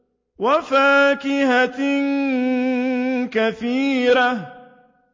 وَفَاكِهَةٍ كَثِيرَةٍ